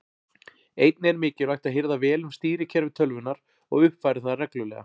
Einnig er mikilvægt að hirða vel um stýrikerfi tölvunnar og uppfæra það reglulega.